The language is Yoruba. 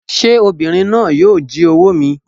Sé obìnrin náà yíì o jí owó mi